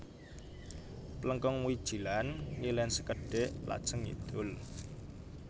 Plengkung Wijilan ngilen sekedhik lajeng ngidul